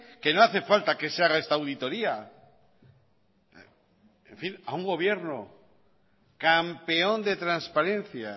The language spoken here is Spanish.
que no hace falta que se haga esta auditoría en fin a un gobierno campeón de transparencia